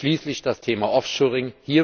Schließlich das Thema Offshoring.